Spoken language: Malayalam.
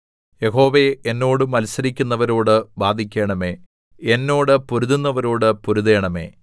യഹോവേ എന്നോട് മത്സരിക്കുന്നവരോട് വാദിക്കണമേ എന്നോട് പൊരുതുന്നവരോട് പെരുതണമേ